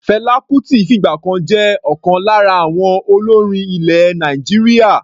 Fela Kuti fìgbà kan jẹ́ ọ̀kan lára àwọn olórin ilẹ̀ Nàìjíríà.